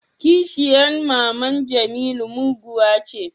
kisheyan maman jemilu muguwa ce